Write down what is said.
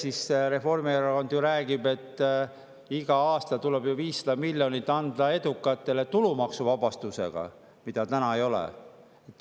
Ise Reformierakond ju räägib, et igal aastal tuleb edukatele anda 500 miljonit tulumaksuvabastusega, mida täna ei ole.